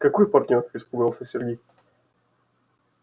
какой партнёр испугался сергей